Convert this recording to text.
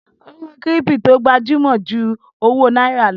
Owó kírípítò gbajúmọ̀ ju owó náírà lọ.